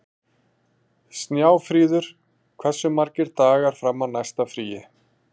Snjáfríður, hversu margir dagar fram að næsta fríi?